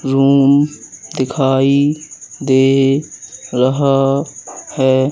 Room दिखाई दे रहा है।